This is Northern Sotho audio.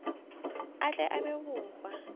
a tle a abe bohwa